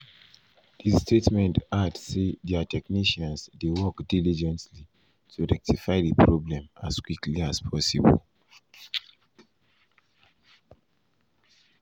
di statement add say dia technicians dey work diligently to rectify di problem as quickly as possible.